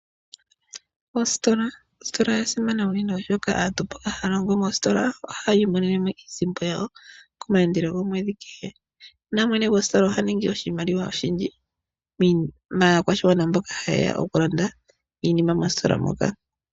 Ositola, Ositola oya simana noonkondo, oshoka mboka haya longo moositola ohaya imonene mo iisimpo yawo komayandelo gomwedhi kehe. Mwene gositola oha ningi oshimaliwa oshindji maakwashigwana mboka haye ya okulanda iinima mositola moka.